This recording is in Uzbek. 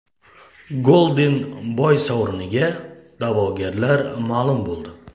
Golden Boy sovriniga da’vogarlar ma’lum bo‘ldi.